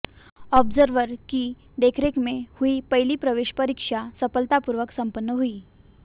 observer की देखरेख में हुई पहली प्रवेश परीक्षा सफलतापूर्वक सम्पन्न हुई